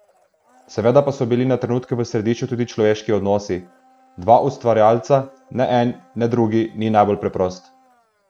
Seveda pa so bili na trenutke v središču tudi človeški odnosi: "Dva ustvarjalca, ne en ne drugi ni najbolj preprost.